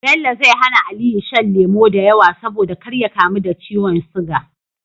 Bello zai hAna aliyu shan lemo dayawa saboda kar ya kamu da ciwon siga